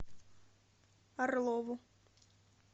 орлову